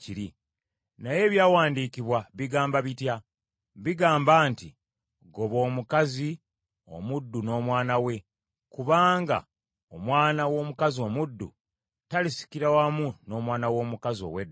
Naye Ebyawandiikibwa bigamba bitya? Bigamba nti, “Goba omukazi omuddu n’omwana we, kubanga omwana w’omukazi omuddu talisikira wamu n’omwana w’omukazi ow’eddembe.”